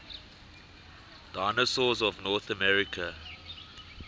dinosaurs of north america